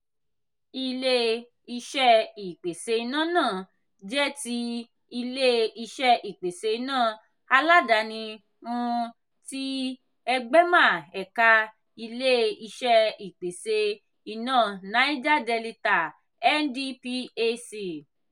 ile-iṣẹ ìpèsè iná náà jẹ́ tí ilé-iṣé ìpèsè iná aládàáni um tí egbema ẹ̀ka ilé-iṣé ìpèsè iná naija delita (ndphc).